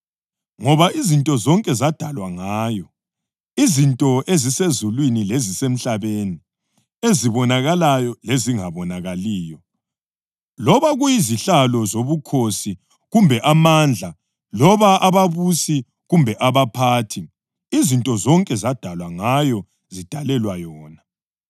Ngoba izinto zonke zadalwa ngayo: izinto ezisezulwini lezisemhlabeni, ezibonakalayo lezingabonakaliyo loba kuyizihlalo zobukhosi kumbe amandla loba ababusi kumbe abaphathi; izinto zonke zadalwa ngayo zidalelwa yona.